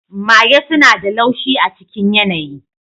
Mage suna da laushi a cikin yanayi.